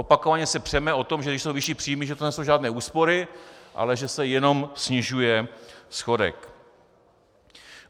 Opakovaně se přeme o tom, že když jsou vyšší příjmy, že to nejsou žádné úspory, ale že se jenom snižuje schodek.